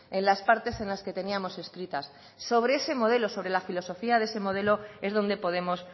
en las partes en las que teníamos escritas sobre ese modelo sobre la filosofía de ese modelo es donde podemos